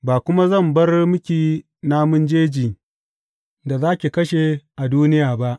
Ba kuma zan bar miki namun jejin da za ki kashe a duniya ba.